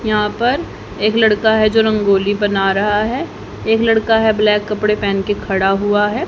यहां पर एक लड़का है जो रंगोली बना रहा है एक लड़का है ब्लैक कपड़े पेहन के खड़ा हुआ है।